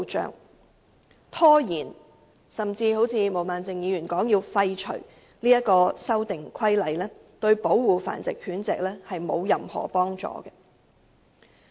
因此，拖延實施甚至如毛孟靜議員所說廢除《修訂規例》，對保護繁殖狗隻根本毫無幫助。